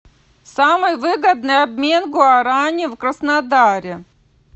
самый выгодный обмен гуарани в краснодаре